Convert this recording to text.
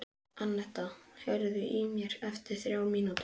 Annetta, heyrðu í mér eftir þrjár mínútur.